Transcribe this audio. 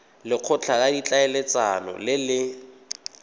lekgotla la ditlhaeletsano le le